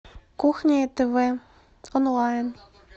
кухня и тв онлайн